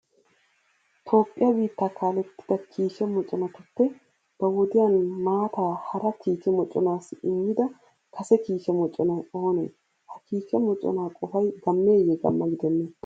Toophphiya biittaa kaalettida kiike moconatuppe ba wodiyan maataa hara kiike moconaassi immida kase kiike moconay oonee? Ha kiike moconaa qofay gammeeyyee gamma gidennee?